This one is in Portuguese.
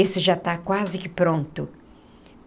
Esse já está quase que pronto.